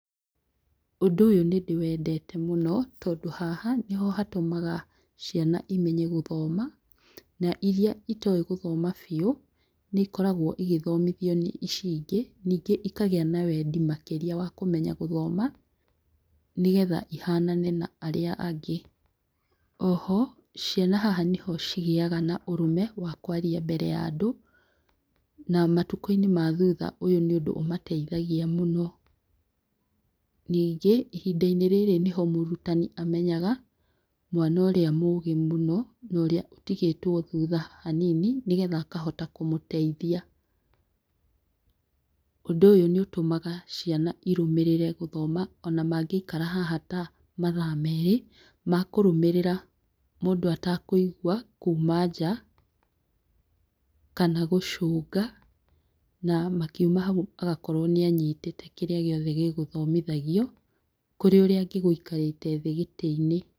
Ũndũ ũyũ nĩ ndĩwendete mũno, tondũ haha nĩho hatũmaga ciana imenye gũthoma, na iria itowĩ gũthoma biũ nĩ ikoragwo igĩthomithio nĩ ici ingĩ, ningĩ ikagĩa na wendi makĩria wa kũmenya gũthoma nĩgetha ihanane na arĩa angĩ, oho ciana haha nĩho cigĩaga na ũrũme wa kwaria mbere ya andũ, na matukũ-inĩ ma thutha ũyũ nĩ ũndũ ũmateithagia mũno, ningĩ ihinda-inĩ rĩrĩ nĩho mũrutani amenyaga mwana ũrĩa mũgĩ mũno, na ũrĩa ũtigĩtwo thutha hanini, nĩgetha akahota kũmũteithia, ũndũ ũyũ nĩ ũtũmaga ciana irũmĩrĩre gũthoma ona mangĩikara haha ta mathaa merĩ makũrũmĩrĩra mũndũ atekũigwa kuma nja, kana gũcũnga na makiuma hau agakorwo nĩ anyitĩte kĩrĩa gĩothe gĩgũthomithagio, kũrĩ ũrĩa angĩgũikarĩte thĩ gĩtĩ-inĩ.